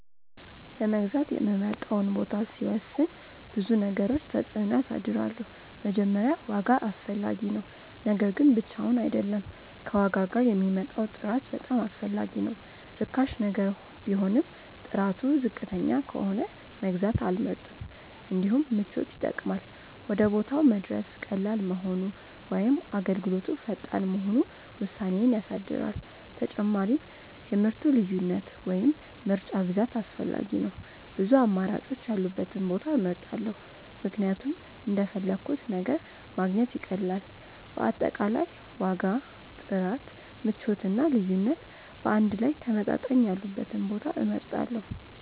ለመግዛት የምመርጠውን ቦታ ሲወስን ብዙ ነገሮች ተጽዕኖ ያሳድራሉ። መጀመሪያ ዋጋ አስፈላጊ ነው፤ ነገር ግን ብቻውን አይደለም፣ ከዋጋ ጋር የሚመጣው ጥራት በጣም አስፈላጊ ነው። ርካሽ ነገር ቢሆንም ጥራቱ ዝቅተኛ ከሆነ መግዛት አልመርጥም። እንዲሁም ምቾት ይጠቅማል፤ ወደ ቦታው መድረስ ቀላል መሆኑ ወይም አገልግሎቱ ፈጣን መሆኑ ውሳኔዬን ያሳድራል። ተጨማሪም የምርቱ ልዩነት ወይም ምርጫ ብዛት አስፈላጊ ነው፤ ብዙ አማራጮች ያሉበትን ቦታ እመርጣለሁ ምክንያቱም እንደፈለግሁት ነገር ማግኘት ይቀላል። በአጠቃላይ ዋጋ፣ ጥራት፣ ምቾት እና ልዩነት በአንድ ላይ ተመጣጣኝ ያሉበትን ቦታ እመርጣለሁ።